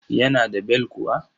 Yana da bel kuwa.